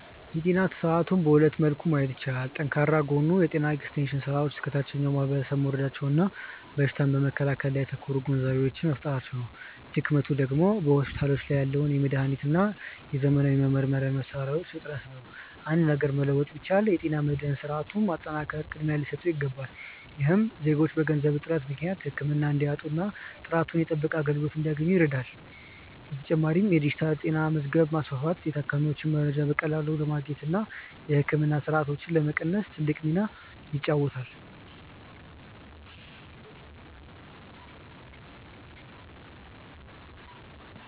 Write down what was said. የጤና ስርዓቱን በሁለት መልክ ማየት ይቻላል። ጠንካራው ጎን የጤና ኤክስቴንሽን ስራዎች እስከ ታችኛው ማህበረሰብ መውረዳቸውና በሽታን በመከላከል ላይ ያተኮሩ ግንዛቤዎች መፈጠራቸው ነው። ድክመቱ ደግሞ በሆስፒታሎች ያለው የመድኃኒትና የዘመናዊ መመርመሪያ መሣሪያዎች እጥረት ነው። አንድ ነገር መለወጥ ቢቻል፣ የጤና መድህን ስርዓቱን ማጠናከር ቅድሚያ ሊሰጠው ይገባል። ይህም ዜጎች በገንዘብ እጥረት ምክንያት ህክምና እንዳያጡና ጥራቱ የተጠበቀ አገልግሎት እንዲያገኙ ይረዳል። በተጨማሪም የዲጂታል ጤና መዝገብ ማስፋፋት የታካሚዎችን መረጃ በቀላሉ ለማግኘትና የህክምና ስህተቶችን ለመቀነስ ትልቅ ሚና ይጫወታል።